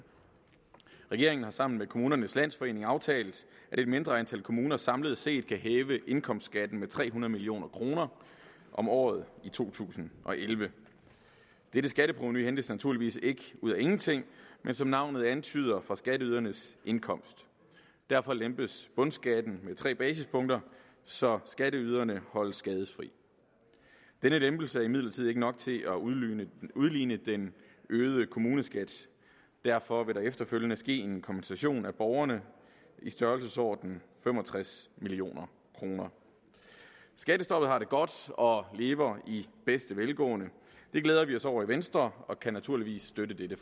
regeringen har sammen med kommunernes landsforening aftalt at et mindre antal kommuner samlet set kan hæve indkomstskatten med tre hundrede million kroner om året i to tusind og elleve dette skatteprovenu hentes naturligvis ikke ud af ingenting men som navnet antyder fra skatteydernes indkomst derfor lempes bundskatten med tre basispunkter så skatteyderne holdes skadefri denne lempelse er imidlertid ikke nok til at udligne udligne den øgede kommuneskat derfor vil der efterfølgende ske en kompensation af borgerne i størrelsesordenen fem og tres million kroner skattestoppet har det godt og lever i bedste velgående det glæder vi os over i venstre og vi kan naturligvis støtte dette